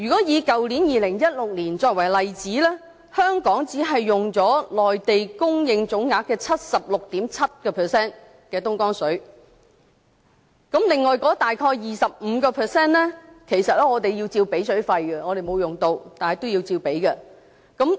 以去年2016年作為例子，香港只用了內地供應東江水的總額的 76.7%， 另外大約的 25%， 其實我們同樣要支付水費，即使我們沒有用，但也要支付費用。